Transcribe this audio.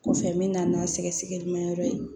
Kɔfɛ n bɛ na n'a sɛgɛsɛgɛli ma yɔrɔ ye